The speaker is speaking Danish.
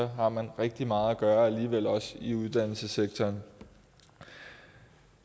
har man rigtig meget at gøre alligevel også i uddannelsesektoren